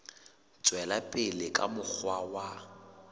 tswela pele ka mokgwa wa